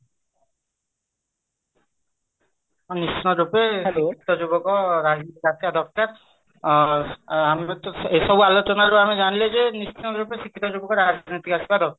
ନିଶ୍ଚିନ୍ତ ରୂପେ ଶିକ୍ଷିତ ଯୁବକ ରାଜନୀତିକୁ ଆସିବା ଦରକାର ଆଁ ଏଇସବୁ ଆଲୋଚନା ରୁ ଆମେ ଜାଣିଲେ ଯେ ନିଶ୍ଚିନ୍ତ ରୂପେ ଶିକ୍ଷିତ ଯୁବକ ରାଜନୀତିକୁ ଆସିବା ଦରକାର